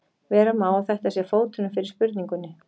Vera má að þetta sé fóturinn fyrir spurningunni.